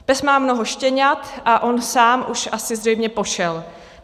PES má mnoho štěňat a on sám už asi zřejmě pošel.